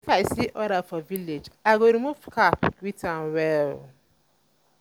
if i see elder for village i go remove cap greet am well.